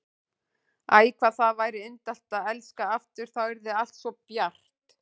Æ, hvað það væri indælt að elska aftur, þá yrði allt svo bjart.